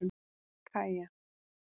Kaja